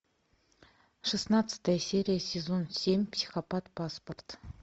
шестнадцатая серия сезон семь психопат паспорт